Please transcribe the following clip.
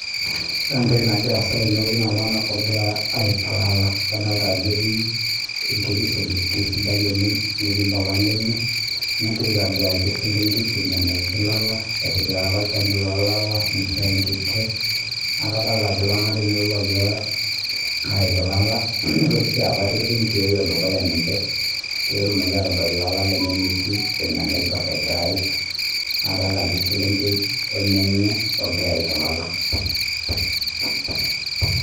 Ore entoki nagira asaa tenewueji na iltung'ana ogira ayik elala adolita Ajo etii enkiti selenkei sidai oleng netii mbapa lenye negira aitoduake eselenkei enikoo teneyik elala etipikaka olchani loo lala nishoo enkike neku iltung'ana ogira ayik elala nitooki akuu etipika enkioo dukuya ninche petumoki adol elala lenye enetieu vile naibor egira ayiek adolita ajo eselenkei omenye nagira ayik elala